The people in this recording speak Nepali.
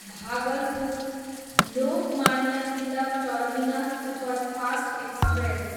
Bhagalpur, Lokmanya Tilak terminus superfast express